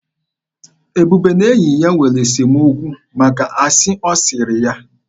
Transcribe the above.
Ebube na enyi ya nwere esemokwu maka asị ọ sịrị ya.